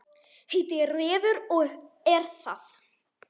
Heitir Refur og er það.